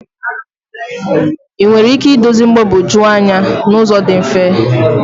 Ị nwere ike idozi mgbagwoju anya n'ụzọ dị mfe?